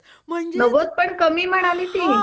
म्हणजे नव्वद पण कमी म्हणाली ती